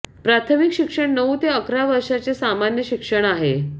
प्राथमिक शिक्षण नऊ ते अकरा वर्षाचे सामान्य शिक्षण आहे